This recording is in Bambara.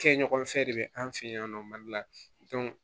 Kɛɲɔgɔn fɛn de bɛ an fɛ yan nɔ mali la